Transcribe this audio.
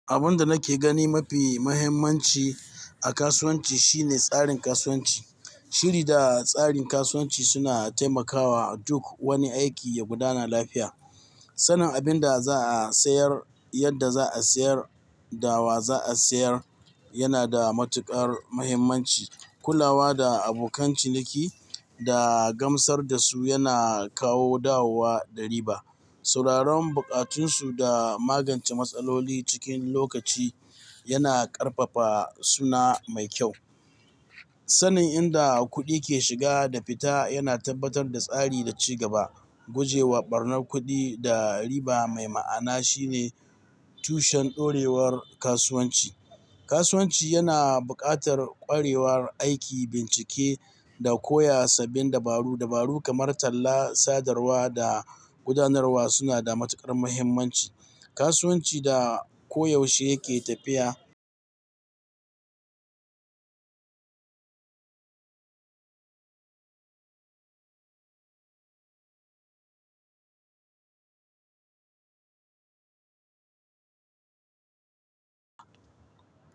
Abin da nake gani mafi muhimmanci a kasuwanci shine tsarin kasuwanci. Shiri da tsarin kasuwanci suna taimakawa duk wani aiki ya gudana lafiya. Sanin abin da za a sayar, yadda za a sayar da wa za a sayar yana da matukar muhimmanci. Kulawa da abokan ciniki da gamsar da su yana kawo dawowa da riba. Sauraron bukatunsu da magance matsaloli cikin lokaci yana ƙarfafa suna mai kyau. Sanin inda kuɗi ke shiga da fita yana tabbatar da tsari da ci gaba. Guje wa ɓarnar kuɗi da riba mai ma'ana shine tushen ɗorewar kasuwanci. Kasuwanci yana buƙatar ƙwarewar aiki, bincike, da koya sabbin dabaru. Dabaru kamar talla, sadarwa, da gudanarwa suna da matukar muhimmanci. Kasuwanci da koyaushe yake tafiya.